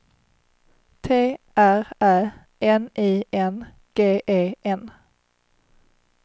T R Ä N I N G E N